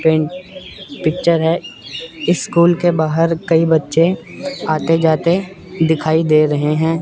Friend picture है school के बाहर कई बच्चे आते जाते दिखाई दे रहे हैं।